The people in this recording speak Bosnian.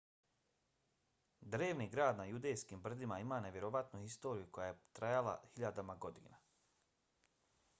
drevni grad na judejskim brdima ima nevjerovatnu historiju koja je trajala hiljadama godina